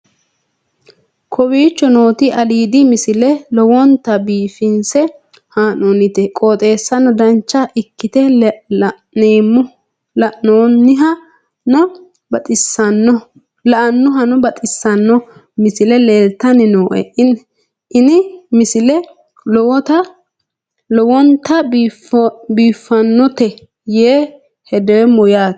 kowicho nooti aliidi misile lowonta biifinse haa'noonniti qooxeessano dancha ikkite la'annohano baxissanno misile leeltanni nooe ini misile lowonta biifffinnote yee hedeemmo yaate